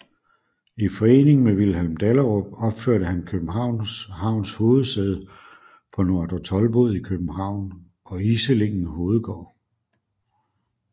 I forening med Vilhelm Dahlerup opførte han Københavns Havns hovedsæde på Nordre Toldbod i København og Iselingen hovedgård